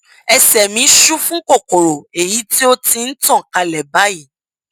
ẹsẹ mí ṣú fún kòkòrò èyí tí ó ti ń tàn kálẹ báyìí